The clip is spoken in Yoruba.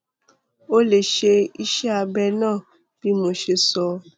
o lè ṣe iṣẹ abẹ náà bí mo ṣe sọ